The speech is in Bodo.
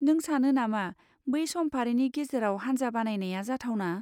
नों सानो नामा बै समफारिनि गेजेराव हान्जा बानायनाया जाथावना?